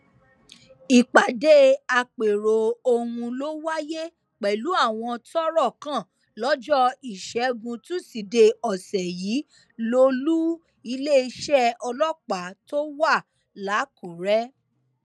ìpàdé àpérò ọhún ló wáyé pẹlú àwọn tọrọ kàn lọjọ ìṣẹgun tusidee ọsẹ yìí lólu iléeṣẹ ọlọpàá tó wà lákùrẹ